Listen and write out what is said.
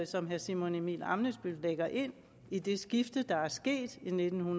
som herre simon emil ammitzbøll lægger ind i det skifte der er sket i nitten